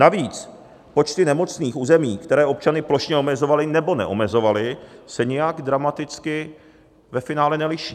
Navíc počty nemocných v území, které občany plošně omezovaly, nebo neomezovaly, se nijak dramaticky ve finále neliší.